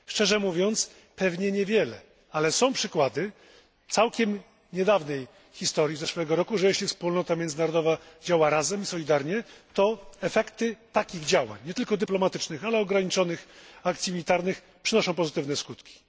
Szczerze mówiąc, pewnie niewiele, ale są przykłady z całkiem niedawnej historii z zeszłego roku że jeśli wspólnota międzynarodowa działa razem, solidarnie, to efekty takich działań, nie tylko dyplomatycznych, ale ograniczonych akcji militarnych przynoszą pozytywne skutki.